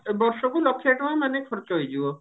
ଏ ବର୍ଷକୁ ଲକ୍ଷେ ଟଙ୍କା ମାନେ ଖର୍ଚ ହେଇଯିବ